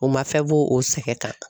O ma fɛn b'o o sɛgɛn kan